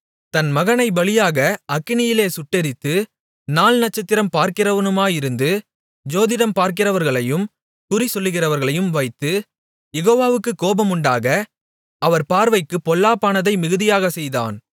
தன் மகனைப் பலியாக அக்கினியில் சுட்டெரித்து நாள் நட்சத்திரம் பார்க்கிறவனுமாயிருந்து ஜோதிடம் பார்க்கிறவர்களையும் குறிசொல்லுகிறவர்களையும் வைத்து யெகோவாவுக்குக் கோபமுண்டாக அவர் பார்வைக்குப் பொல்லாப்பானதை மிகுதியாகச் செய்தான்